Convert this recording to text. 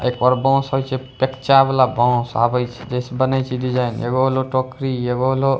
एकर बांस हइसे कच्चा वाला बांस आवइ छै बने छै डिज़ाइन एगो होलो टोकरी एगो होलो --